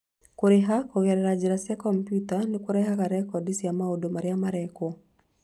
Kũrĩha kũgerera njĩra cia kompiuta nĩ kũrehaga rekondi cia maũndũ marĩa marekwo.